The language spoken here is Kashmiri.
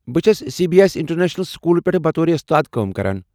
بہٕ چھس C B S international schools منٛز بطور استاد کٲم کران۔